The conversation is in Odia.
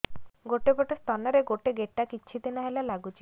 ଗୋଟେ ପଟ ସ୍ତନ ରେ ଗୋଟେ ଗେଟା କିଛି ଦିନ ହେଲା ଲାଗୁଛି